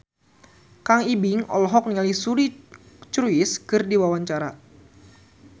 Kang Ibing olohok ningali Suri Cruise keur diwawancara